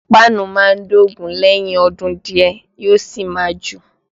Páànù máa ń dògún lẹ́yìn ọdún díẹ̀ yóò sì máa jò